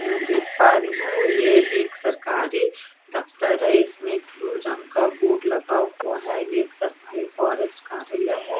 में देख पा रही हूँ ये एक सरकारी दफ्तर है इसमें ब्लू रंग का बोर्ड लगा हुआ है ये एक सरकारी फ़ोरेस्ट कार्यालय है।